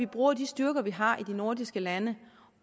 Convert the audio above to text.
bruger de styrker vi har i de nordiske lande